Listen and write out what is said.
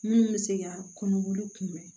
Minnu bɛ se ka kɔnɔboli kunbɛn